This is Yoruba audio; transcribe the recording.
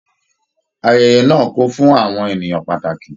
Ayẹyẹ náà kún fún àwọn ènìyàn pàtàkì.